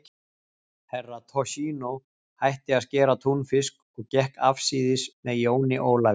Herra Toshizo hætti að skera túnfisk og gekk afsíðis með jóni Ólafi.